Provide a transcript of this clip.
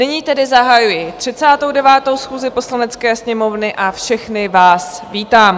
Nyní tedy zahajuji 39. schůzi Poslanecké sněmovny a všechny vás vítám.